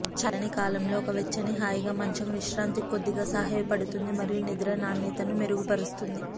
చల్లని కాలంలో ఒక వెచ్చని హాయిగా మంచం విశ్రాంతికి కొద్దిగా సహాయపడుతుంది మరియు నిద్ర నాణ్యతను మెరుగుపరుస్తుంది